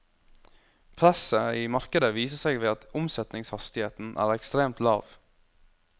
Presset i markedet viser seg ved at omsetningshastigheten er ekstremt lav.